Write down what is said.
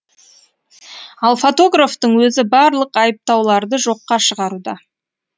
ал фотографтың өзі барлық айыптауларды жоққа шығаруда